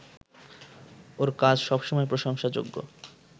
ওর কাজ সবসময় প্রশংসাযোগ্য